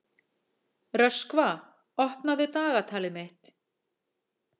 Röskva, opnaðu dagatalið mitt.